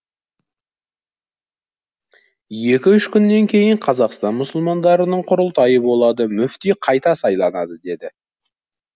екі үш күннен кейін қазақстан мұсылмандарының құрылтайы болады мүфти қайта сайланады деді